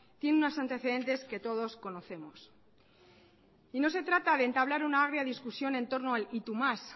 tiene unos antecedentes que todos conocemos no se trata de entablar una agria discusión en torno y tú más